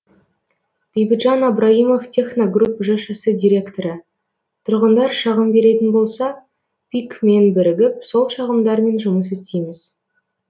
бейбітжан абраимов техногрупп жшс директоры тұрғындар шағым беретін болса пик мен бірігіп сол шағымдармен жұмыс істейміз